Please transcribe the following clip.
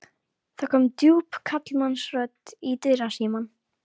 Það kom djúp karlmannsrödd í dyrasímann.